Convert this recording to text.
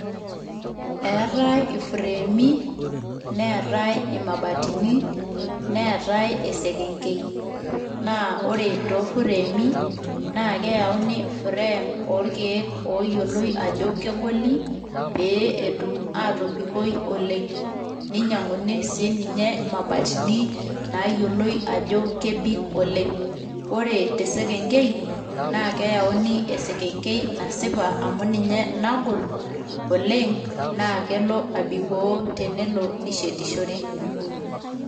eetae i frami neetae imabatini, neetae esekenkei, naa ore too frame naa keyauni frame oorkeek ooyioloi Ajo kegoli pee etum aatobikoi oleng, ninyiang'uni sii ninye imabatini naayioloi Ajo kebik oleng. ore te sekenkei naa keyauni esekenkei nasipa amu ninye nagol oleng. naa kelo abikoo tenishetishore